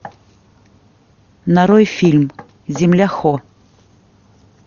нарой фильм земля хо